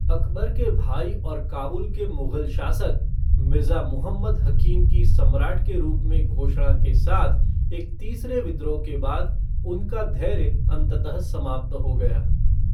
अकबर के भाई और काबुल के मुगल शासक, मिर्ज़ा मुहम्मद हकीम की सम्राट के रूप में घोषणा के साथ एक तीसरे विद्रोह के बाद, उनका धैर्य अंततः समाप्त हो गया।